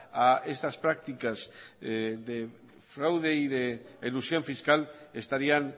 a estas prácticas de fraude y de elusión fiscal estarían